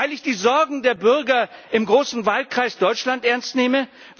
Weil ich die Sorgen der Bürger im großen Wahlkreis Deutschland ernst nehme?